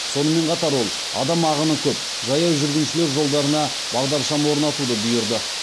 сонымен қатар ол адам ағыны көп жаяу жүргіншілер жолдарына бағдаршам орнатуды бұйырды